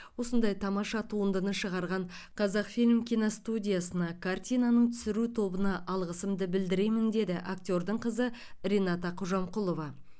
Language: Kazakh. осындай тамаша туындыны шығарған қазақфильм киностудиясына картинаның түсіру тобына алғысымды білдіремін деді актердің қызы рената қожамқұлова